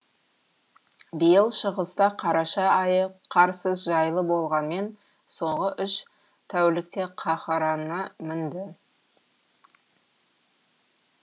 биыл шығыста қараша айы қарсыз жайлы болғанмен соңғы үш тәулікте қаһарына мінді